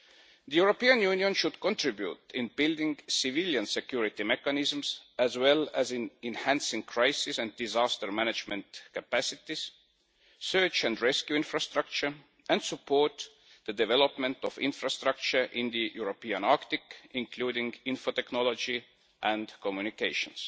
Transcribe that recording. The European Union should contribute in building civilian security mechanisms as well as in enhancing crisis and disaster management capacities, search and rescue infrastructure and support the development of infrastructure in the European Arctic, including infotechnology, and communications.